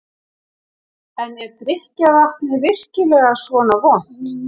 En er drykkjarvatnið virkilega svona vont?